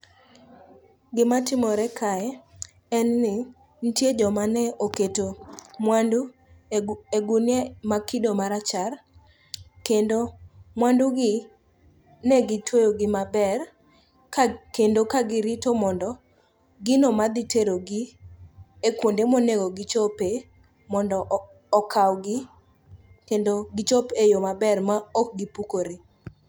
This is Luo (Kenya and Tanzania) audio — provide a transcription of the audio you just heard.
Gimatimore kae en ni nitie jomane oketo mwandu e gunia mag kido marachar kendo mwandugi ne gitweyogi maber kendo ka girito mondo gino madhiterogi e kuonde monego gichope mondo okawgi kendo gichop e yo maber ma ok gipukore.